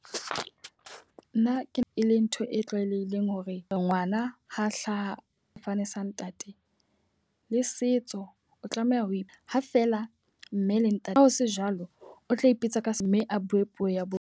Nna ke e le ntho e tlwaelehileng hore ngwana ha hlaha sefane sa ntate. Le setso o tlameha ho ima ha feela mme le ntate. Ha ho se jwalo o tla ipitsa ka mme a bue puo ya bona.